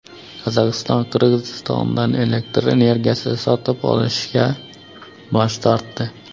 Qozog‘iston Qirg‘izistondan elektr energiyasi sotib olishdan bosh tortdi.